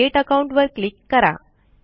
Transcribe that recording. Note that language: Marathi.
क्रिएट अकाउंट वर क्लिक करा